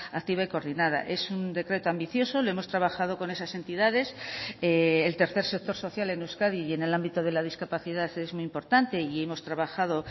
activa y coordinada es un decreto ambicioso lo hemos trabajado con esas entidades el tercer sector social en euskadi y en el ámbito de la discapacidad es muy importante y hemos trabajado